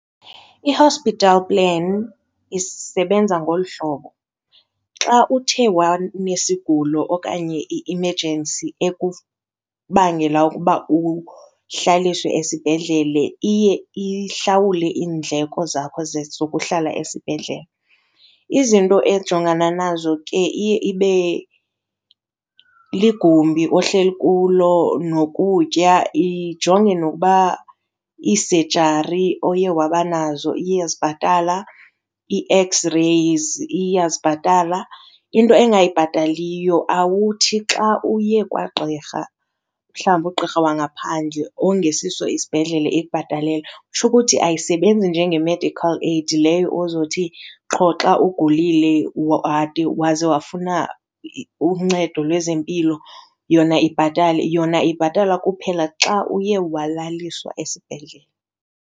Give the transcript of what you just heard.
I-hospital plan isebenza ngolu hlobo, xa uthe wanesigulo okanye i-emergency ekubangela ukuba uhlaliswe esibhedlele iye ihlawule iindleko zakho zokuhlala esibhedlele. Izinto ejongana nazo ke iye ibe ligumbi ohleli kulo nokutya, ijonge noba ii-surgery oye wabo banazo iyazibhatala, ii-X-Rays iyazibhatala. Into engayibhataliyo awuthi xa uye kwagqirha, mhlawumbi ugqirha wangaphandle, ongesiso isibhedlele ikubhatalele. Kutsho ukuthi ayisebenzi njenge-medical aid leyo ozothi qho xa ugulile wade waze wafuna uncedo lwezempilo yona ibhatale, yona ibhatala kuphela xa uye walaliswa esibhedlele.